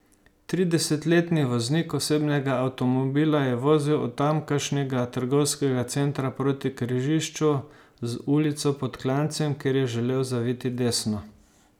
Tridesetletni voznik osebnega avtomobila je vozil od tamkajšnjega trgovskega centra proti križišču z ulico Pod Klancem, kjer je želel zaviti desno.